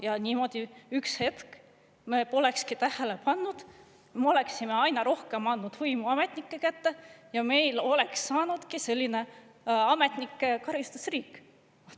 Ja niimoodi üks hetk me polekski tähele pannud, me oleksime aina rohkem andnud võimu ametnike kätte ja meil oleks saanud selline ametnike karistusriik.